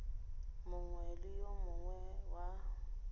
mongwe le yo mongwe wa